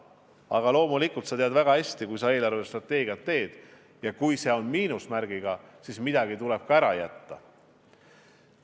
Aga loomulikult, sa tead väga hästi, et kui eelarvestrateegiat teed ja kui see on miinusmärgiga, siis midagi tuleb ka ära jätta.